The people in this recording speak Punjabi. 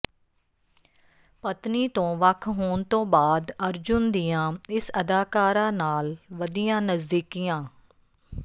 ਪਤਨੀ ਤੋਂ ਵੱਖ ਹੋਣ ਤੋਂ ਬਾਅਦ ਅਰਜੁਨ ਦੀਆਂ ਇਸ ਅਦਾਕਾਰਾ ਨਾਲ ਵਧੀਆਂ ਨਜ਼ਦੀਕੀਆਂ